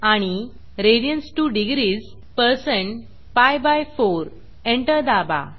आणि radians2degrees160 पीआय4 enter दाबा